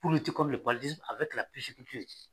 Bolo ci kɔmi